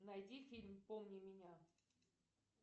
найди фильм помни меня